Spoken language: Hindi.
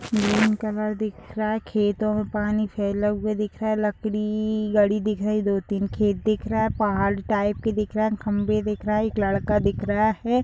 ग्रीन कलर दिख रहा है | खेतों में पानी फैला हुआ दिख रहा है | लकड़ी दो तीन खेत दिख रहा है | पहाड़ टाइप का दिखा रहा है | खम्भे दिख रहे है एक लड़का दिख रहा है |